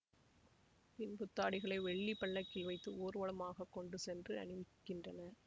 பின் புத்தாடைகளை வெள்ளி பல்லக்கில் வைத்து ஊர்வலமாக கொண்டு சென்று அணிவிக்கின்றனர்